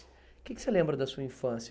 Que que você lembra da sua infância?